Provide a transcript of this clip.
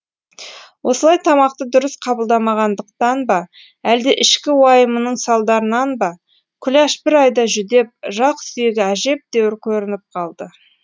осылай тамақты дұрыс қабылдамағандықтан ба әлде ішкі уайымының салдарынан ба күләш бір айда жүдеп жақ сүйегі әжептәуір көрініп қалды